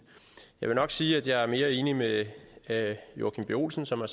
jeg vil nok sige at jeg er mere enig med herre joachim b olsen som har